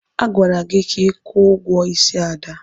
Agwara gị ka kwụọ ụgwọ ísí Ada!